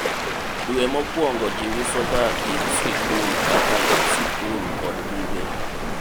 dwe mokwongo jiuso ga gik sikul kaka lep sikul kod buge